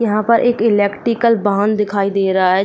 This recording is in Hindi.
यहां पर एक इलेक्ट्रिकल बांध दिखाई दे रहा है।